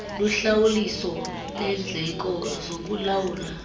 luhlawuliso lendleko zokulawula